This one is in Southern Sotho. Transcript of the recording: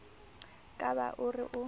ka ba o re o